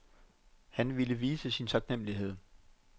Han ville vise sin taknemlighed.